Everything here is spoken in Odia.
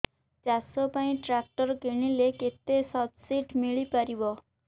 ଚାଷ ପାଇଁ ଟ୍ରାକ୍ଟର କିଣିଲେ କେତେ ସବ୍ସିଡି ମିଳିପାରିବ